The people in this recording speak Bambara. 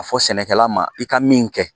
a fɔ sɛnɛkɛla ma i ka min kɛ